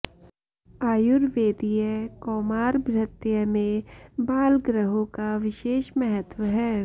आयुर्वेदीय कौमारभृत्य में बाल ग्रहों का विशेष महत्व है